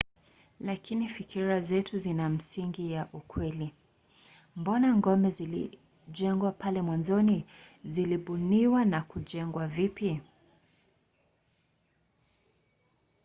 lakini fikira zetu zina misingi ya ukweli? mbona ngome zilijengwa pale mwanzoni? zilibuniwa na kujengwa vipi?